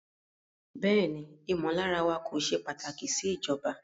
Bẹẹni, imọlara wa ko ṣe pataki si ijọba